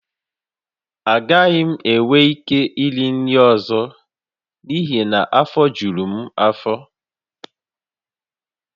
Agaghị m enwe ike iri nri ọzọ n’ihi na afọ juru m afọ